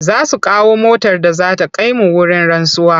Za su kawo motar da za ta kai mu wurin rantsuwa.